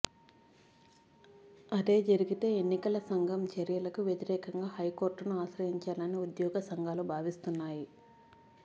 అదే జరిగితే ఎన్నికల సంఘం చర్యలకు వ్యతిరేకంగా హైకోర్టును ఆశ్రయించాలని ఉద్యోగ సంఘాలు భావిస్తున్నాయి